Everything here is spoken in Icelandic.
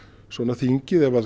þingið ef